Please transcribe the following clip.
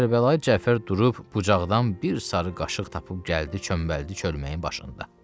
Kərbəlayı Cəfər durub bucaqdan bir sarı qaşıq tapıb gəldi, çöməldi çölməyin başında.